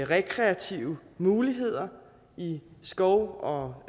rekreative muligheder i skov og